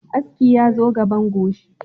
Aski yazo gaban goshi